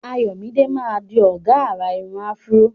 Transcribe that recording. Ayomide máa di ọ̀gá àrà irun afro.